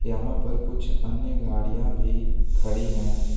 यहां पर कुछ अन्य गाड़ियां भी खड़ी है।